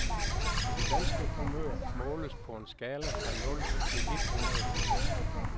Det danske humør måles på en skala fra nul til et hundrede procent.